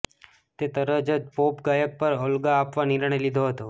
તે તરત જ પોપ ગાયક પર ઓલ્ગા આપવા નિર્ણય લીધો હતો